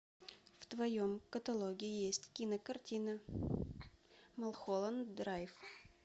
в твоем каталоге есть кинокартина малхолланд драйв